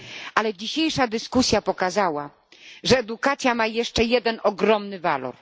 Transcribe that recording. Ale dzisiejsza dyskusja pokazała, że edukacja ma jeszcze jeden ogromny walor.